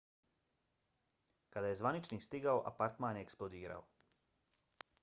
kada je zvaničnik stigao apartman je eksplodirao